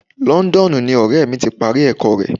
Londonu ni ọrẹ mi ti parí ẹ̀kọ́ rè.